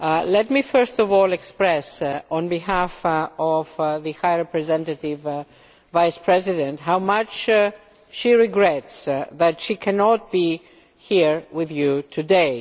Let me first of all express on behalf of the High Representative Vice President how much she regrets that she cannot be here with you today.